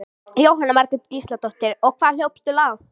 Jóhanna Margrét Gísladóttir: Og hvað hljópstu langt?